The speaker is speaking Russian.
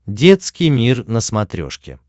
детский мир на смотрешке